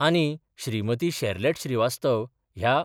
आनी श्रीमती शेरलॅट श्रीवास्तव ह्या